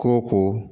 Ko ko